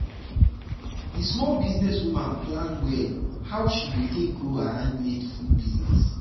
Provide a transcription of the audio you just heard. the small business woman plan well how she um she um go take grow her handmade food business. um